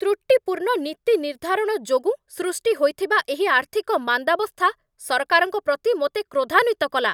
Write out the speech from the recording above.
ତ୍ରୁଟିପୂର୍ଣ୍ଣ ନୀତି ନିର୍ଦ୍ଧାରଣ ଯୋଗୁଁ ସୃଷ୍ଟି ହୋଇଥିବା ଏହି ଆର୍ଥିକ ମାନ୍ଦାବସ୍ଥା ସରକାରଙ୍କ ପ୍ରତି ମୋତେ କ୍ରୋଧାନ୍ଵିତ କଲା।